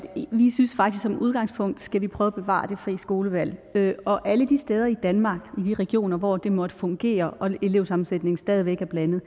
som udgangspunkt skal vi prøve at bevare det frie skolevalg og alle de steder i danmark i de regioner hvor det måtte fungere og elevsammensætningen stadig væk er blandet